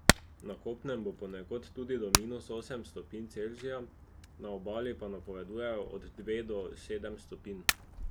Na kopnem bo ponekod tudi do minus osem stopinj Celzija, na obali pa napovedujejo od dve do sedem stopinj.